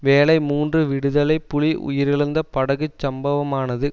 வேளை மூன்று விடுதலை புலி உயிரிழந்த படகு சம்பவமானது